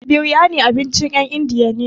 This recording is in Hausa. Biryani abincin ƴen indiya ne.